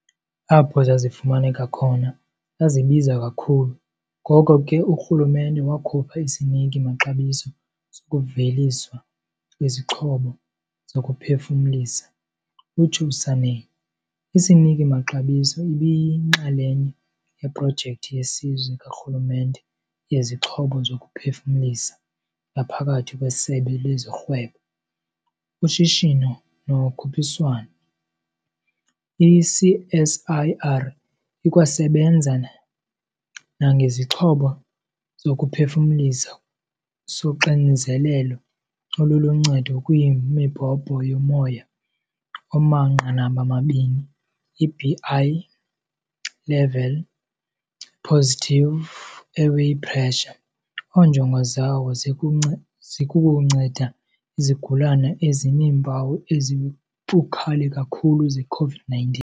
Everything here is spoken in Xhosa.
Apho zazifumaneka khona, zazibiza kakhulu, ngoko ke urhulumente wakhupha isiniki-maxabiso sokuveliswa kwezixhobo zokuphefumlisa, utsho uSanne. Isiniki-maxabiso ibiyinxalenye yeProjekthi yeSizwe karhulumente yeziXhobo zokuPhefumlisa ngaphakathi kweSebe lezoRhwebo, uShishino noKhuphiswano. I-CSIR ikwasebenza nangesixhobo sokuphefumlisa soXinzelelo oluluNcedo kwiMibhobho yoMoya omaNqanaba-mabini, i-Bi-level Positive Airway Pressure, onjongo zawo zikukunceda izigulane ezineempawu ezibukhali kakhulu ze-COVID-19.